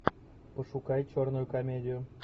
пошукай черную комедию